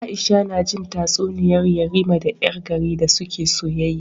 Aisha najin tatsuniyar yarima da yar gari da suke soyayya